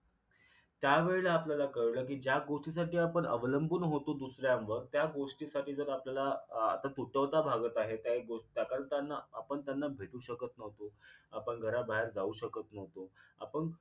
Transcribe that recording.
त्यावेळेला आपल्याला कळलं कि ज्या गोटीसाठी आपण अवलंबून होतो दुसऱ्यावर त्या गोष्टीसाठी जर आपल्याला आह तुटवता भागत आहेत काही गोष्टी दाखल त्यांना आपण त्यांना भेटू शकत न्हवतो आपण घराबाहेर जाऊ शकत न्हवतो आपण